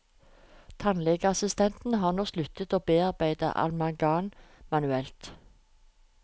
Tannlegeassistentene har nå sluttet å bearbeide amalgam manuelt.